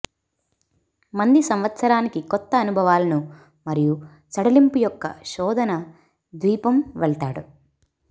మంది సంవత్సరానికి కొత్త అనుభవాలను మరియు సడలింపు యొక్క శోధన ద్వీపం వెళతాడు